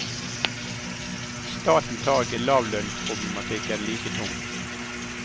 Staten tar ikke lavlønnsproblematikken like tungt.